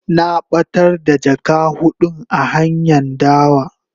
Na batar da jaka hudun a hanyan dawa.